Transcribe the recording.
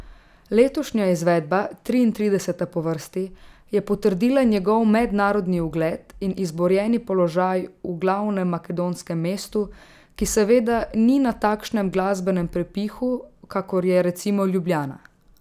Letošnja izvedba, triintrideseta po vrsti, je potrdila njegov mednarodni ugled in izborjeni položaj v glavnem makedonskem mestu, ki seveda ni na takšnem glasbenem prepihu, kakor je, recimo, Ljubljana.